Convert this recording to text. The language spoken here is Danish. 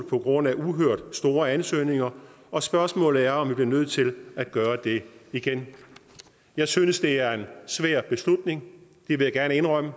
på grund af et uhørt stort antal ansøgninger og spørgsmålet er om vi bliver nødt til at gøre det igen jeg synes det er en svær beslutning det vil jeg gerne indrømme